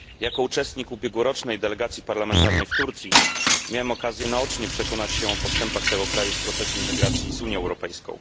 Jako uczestnik ubiegłorocznej delegacji parlamentarnej do Turcji miałem okazję naocznie przekonać się o postępach tego kraju w procesie integracji z Unią Europejską.